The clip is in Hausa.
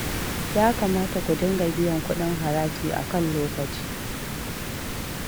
Ya kamata ku dinga biyan kuɗin haraji a kan lokaci